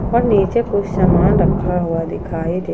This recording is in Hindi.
और नीचे कुछ सामान रखा हुआ दिखाई दे--